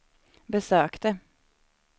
besökte